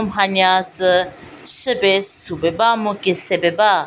mhanya sü chü pie su pie ba mu kese pie ba.